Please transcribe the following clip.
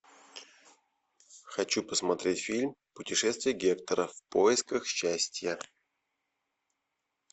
хочу посмотреть фильм путешествие гектора в поисках счастья